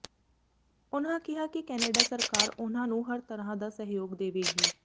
ਉਨ੍ਹਾਂ ਕਿਹਾ ਕਿ ਕੈਨੇਡਾ ਸਰਕਾਰ ਉਨ੍ਹਾਂ ਨੂੰ ਹਰ ਤਰ੍ਹਾਂ ਦਾ ਸਹਿਯੋਗ ਦੇਵੇਗੀ